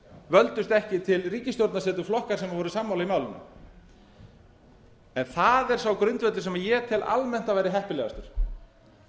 völdust ekki til ríkisstjórnarsetu flokkar sem voru sammála í málinu en það er sá grundvöllur sem ég tel almennt að væri heppilegastan